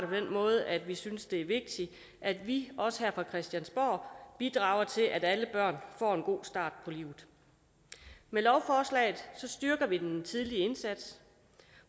den måde at vi synes det er vigtigt at vi også her på christiansborg bidrager til at alle børn får en god start på livet med lovforslaget styrker vi den tidlige indsats